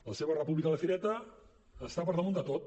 la seva república de fireta està per damunt de tot